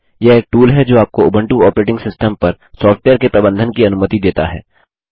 यह एक टूल है जो आपको उंबटू ऑपरेटिंग सिस्टम पर सॉफ्टवेयर के प्रबंधन की अनुमति देता है